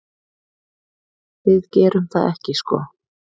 Við gerum það ekki sko.